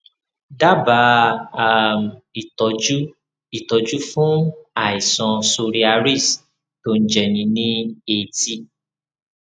dábàá um ìtọjú ìtọjú fún àìsàn psoriasis tó ń jẹni ní etí